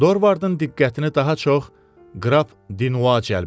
Dorvardın diqqətini daha çox qrap Dinua cəlb elədi.